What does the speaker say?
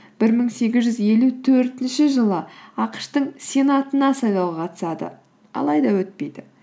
бір мың сегіз жүз елу төртінші жылы ақш тың сенатына сайлауға қатысады алайда өтпейді